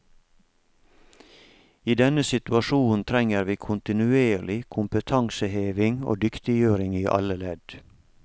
I denne situasjonen trenger vi kontinuerlig kompetanseheving og dyktiggjøring i alle ledd.